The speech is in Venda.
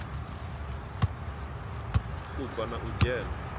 u bva na u dzhena